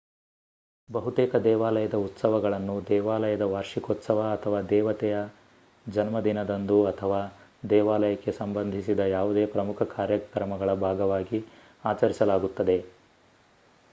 ಬಹುತೇಕ ದೇವಾಲಯದ ಉತ್ಸವಗಳನ್ನು ದೇವಾಲಯದ ವಾರ್ಷಿಕೋತ್ಸವ ಅಥವಾ ದೇವತೆಯ ಜನ್ಮದಿನದಂದು ಅಥವಾ ದೇವಾಲಯಕ್ಕೆ ಸಂಬಂಧಿಸಿದ ಯಾವುದೇ ಪ್ರಮುಖ ಕಾರ್ಯಕ್ರಮಗಳ ಭಾಗವಾಗಿ ಅಚರಿಸಲಾಗುತ್ತದೆ